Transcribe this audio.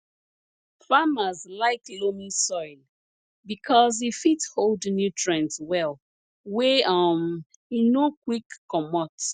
farmers like loamy soil because e fit hold nutrients well wey um e no quick comot